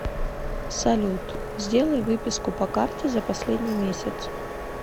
салют сделай выписку по карте за последний месяц